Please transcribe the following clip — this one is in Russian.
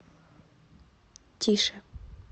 тише